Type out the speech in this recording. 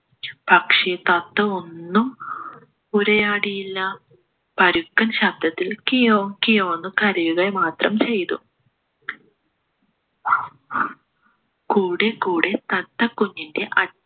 പക്ഷേ തത്ത ഒന്നും ഉരിയാടിയില്ല പരുക്കൻ ശബ്ദത്തിലും കീയോം കിയോ എന്ന് കരയുക മാത്രം ചെയ്തു കൂടെക്കൂടെ തത്ത കുഞ്ഞിൻ്റെ